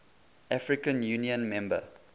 african union member